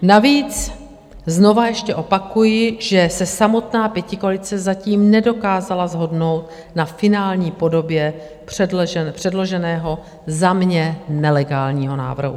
Navíc, znova ještě opakuji, že se samotná pětikoalice zatím nedokázala shodnout na finální podobě předloženého, za mě nelegálního návrhu.